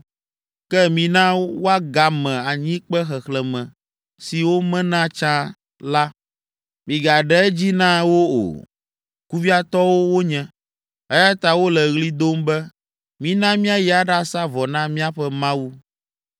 Ke mina woagame anyikpe xexlẽme si womena tsã la; migaɖe edzi na wo o. Kuviatɔwo wonye, eya ta wole ɣli dom be, ‘Mina míayi aɖasa vɔ na míaƒe Mawu’